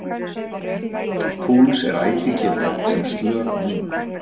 púls er ætíð gefinn upp sem slög á mínútu